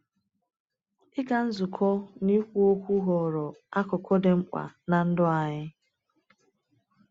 Ịga nzukọ na ikwu okwu ghọrọ akụkụ dị mkpa n’ndụ anyị.